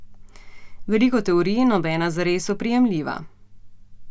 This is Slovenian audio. Veliko teorij, nobena zares oprijemljiva.